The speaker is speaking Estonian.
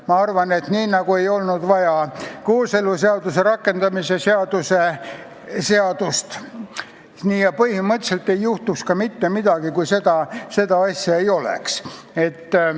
Ma arvan, et nii nagu ei olnud vaja kooseluseaduse rakendamise seadust, ei juhtuks põhimõtteliselt mitte midagi, kui ka seda seadust ei oleks.